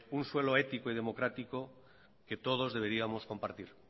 un suelo ético y democrático que todos deberíamos compartir